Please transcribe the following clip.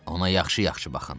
Ona yaxşı-yaxşı baxın.